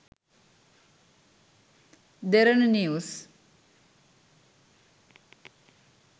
derana news